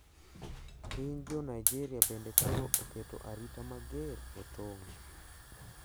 Piny jo Nigeria bende koro oketo arita mager e tong`.